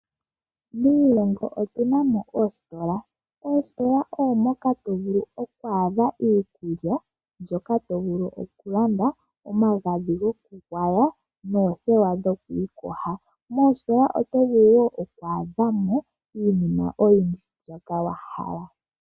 Miilomgo otu na mo oositola. Oositola oko hoka to vulu oku adha iikulya mbyoka tuvulu okulanda, omagadhi goku gwaya noothewa dhokwiiyoga. Moositola oto vulu ku adhamo iinima oyindji mbyoka wahala.